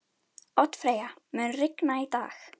Oddfreyja, mun rigna í dag?